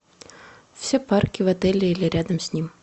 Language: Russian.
все парки в отеле или рядом с ним